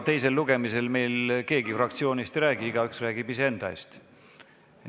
Teisel lugemisel meil keegi fraktsiooni eest ei räägi, igaüks räägib iseenda eest.